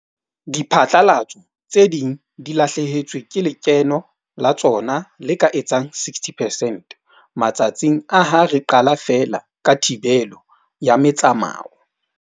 Diphatlalatso tse ding di lahlehetswe ke lekeno la tsona le ka etsang 60 percent matsatsing a ha re qala feela ka thibelo ya metsamao.